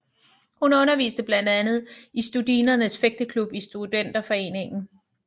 Hun underviste blandt andet i Studinernes Fægteklub i Studenterforeningen